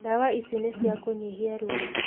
Ndawa ici nĩ ci kũnihia ruwo.